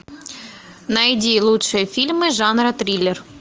найди лучшие фильмы жанра триллер